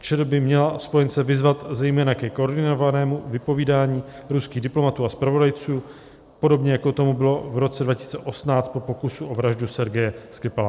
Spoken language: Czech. ČR by měla spojence vyzvat zejména ke koordinovanému vypovídání ruských diplomatů a zpravodajců, podobně jako tomu bylo v roce 2018 po pokusu o vraždu Sergeje Skripala."